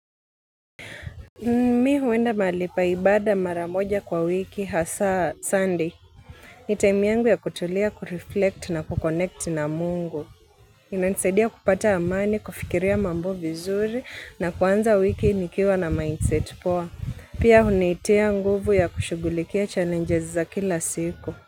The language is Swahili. Mimi huenda mahali pa ibada maramoja kwa wiki hasa Sunday. Ni time yangu ya kutulia kureflect na kukonekti na Mungu. Inanisaidia kupata amani, kufikiria mambo vizuri na kuanza wiki nikiwa na mindset poa. Pia hunitia nguvu ya kushugulikia challenges za kila siku.